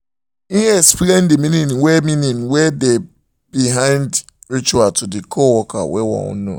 he explain the meaning wey meaning wey dey behind the ritual to the coworkers wey won know